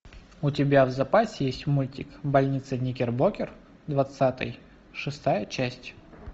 у тебя в запасе есть мультик больница никербокер двадцатый шестая часть